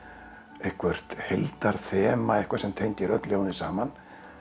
eitthvert eitthvað sem tengir öll ljóðin saman